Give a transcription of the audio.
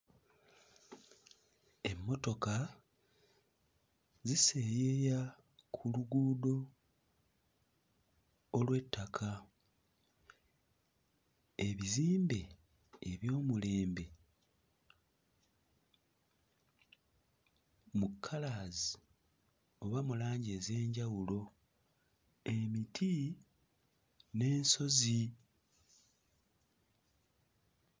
Emmotoka ziseeyeeya ku luguudo olw'ettaka. Ebizimbe eby'omulembe mu colours oba mu langi ez'enjawulo, emiti n'ensozi.